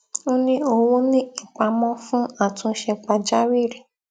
ó ni owo ni ipamo fún atunse pàjáwìrì